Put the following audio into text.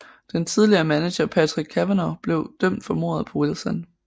Den tidligere manager Patrick Cavanaugh blev dømt for mordet på Wilson